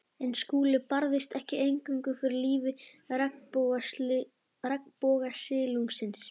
En Skúli barðist ekki eingöngu fyrir lífi regnbogasilungsins.